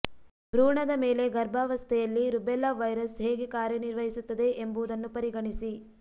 ಭ್ರೂಣದ ಮೇಲೆ ಗರ್ಭಾವಸ್ಥೆಯಲ್ಲಿ ರುಬೆಲ್ಲಾ ವೈರಸ್ ಹೇಗೆ ಕಾರ್ಯನಿರ್ವಹಿಸುತ್ತದೆ ಎಂಬುದನ್ನು ಪರಿಗಣಿಸಿ